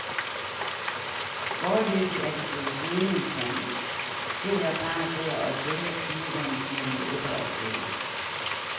Foreløbig er de blevet siddende i sandet, sidder bare der og følger tidevandet mellem ebbe og flod.